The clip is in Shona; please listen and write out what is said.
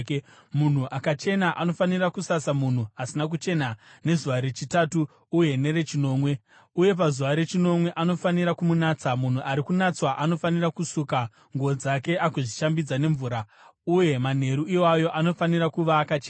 Munhu akachena anofanira kusasa munhu asina kuchena nezuva rechitatu uye nerechinomwe, uye pazuva rechinomwe anofanira kumunatsa. Munhu ari kunatswa anofanira kusuka nguo dzake agozvishambidza nemvura, uye manheru iwayo anofanira kuva akachena.